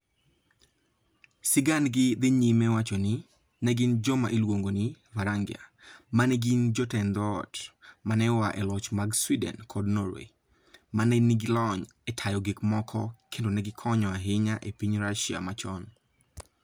Sigandgi dhi nyime wacho ni, ne gin joma iluongo ni "Varangia" ma ne gin jotend dhoot (ma ne oa e loch mag Sweden kod Norway) ma ne nigi lony e tayo gik moko kendo ne gikonyo ahinya e piny Russia machon.